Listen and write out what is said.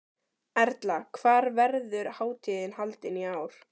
Erla, hvar verður hátíðin haldin í ár?